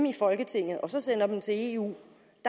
i folketinget og så sende dem til eu